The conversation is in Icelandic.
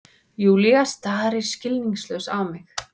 Júlía starir skilningslaus á mig.